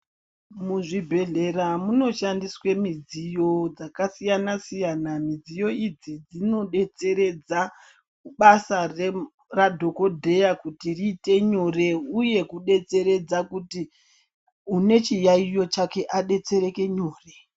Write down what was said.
Muzvibhedhlera munoshandiswe midziyo dzakasiyana siyana midziyo idzi dzinotseredza basa radhokodheya kuti riite nyore uye kudetsereka une chiyaiyo chake adetsereke nyore.